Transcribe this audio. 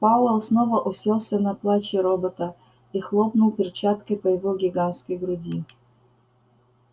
пауэлл снова уселся на плачи робота и хлопнул перчаткой по его гигантской груди